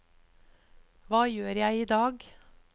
hva gjør jeg idag